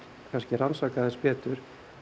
rannsaka betur